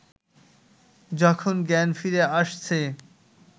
যখন জ্ঞান ফিরে আসছে